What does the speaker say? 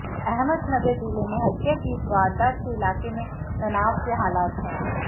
अहमदनगर जिले में हत्या की इस वारदात से इलाके में तनाव के हालात हैं